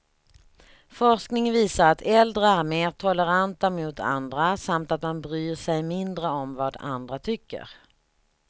Forskning visar att äldre är mer toleranta mot andra, samt att man bryr sig mindre om vad andra tycker.